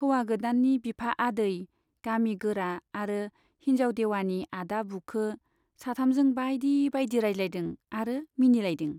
हौवा गोदाननि बिफा आदै , गामि गोरा आरो हिन्जाव देवानि आदा बुखो , साथामजों बाइदि बाइदि रायज्लायदों आरो मिनिलायदों।